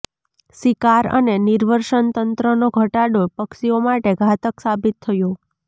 શિકાર અને નિર્વસનતંત્રનો ઘટાડો પક્ષીઓ માટે ઘાતક સાબિત થયો